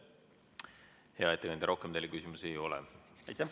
Hea ettekandja, rohkem teile küsimusi ei ole.